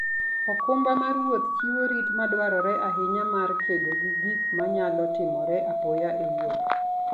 okumba mar wuoth chiwo rit madwarore ahinya mar kedo gi gik manyalo timore apoya e wuoth.